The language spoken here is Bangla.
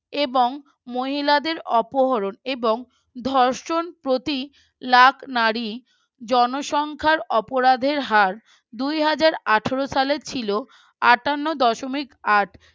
এবং মহিলাদের অপহরণ এবং ধর্ষণ প্রতি লাখ নারী জনসংখ্যার অপরাধের হার দুই হাজার আঠারো সালের ছিল আঠান্ন দশমিক আট